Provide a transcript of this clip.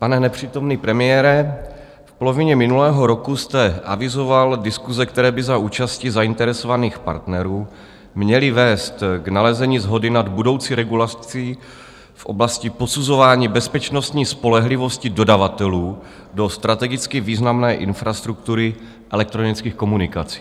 Pane nepřítomný premiére, v polovině minulého roku jste avizoval diskuse, které by za účasti zainteresovaných partnerů měly vést k nalezení shody nad budoucí regulací v oblasti posuzování bezpečnostní spolehlivosti dodavatelů do strategicky významné infrastruktury elektronických komunikací.